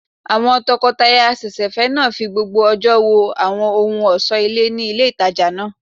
Àwọn tọkọtaya àsẹ̀sẹ̀fẹ́ náà fi gbogbo ọjọ́ wo àwọn ohun ọ̀sọ́ ilé ní ilé ìtajà náà